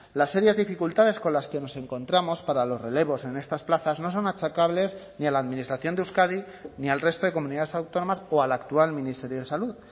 las serias dificultades con las que nos encontramos para los relevos en estas plazas no son achacables ni a la administración de euskadi ni al resto de comunidades autónomas o al actual ministerio de salud